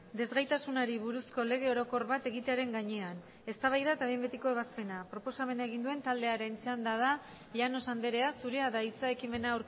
desgaitasunari buruzko lege orokor bat egitearen gainean eztabaida eta behin betiko ebazpena proposamena egin duen taldearen txanda da llanos andrea zurea da hitza ekimena